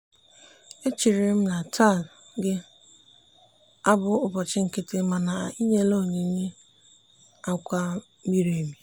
echere m na taa ga-abụ ụbọchị nkịtị mana ị nyela ya oyi akwa miri emi.